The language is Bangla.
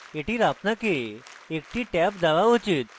এটির আপনাকে একটি ট্যাব দেওয়া উচিত